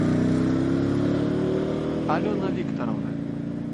алена викторовна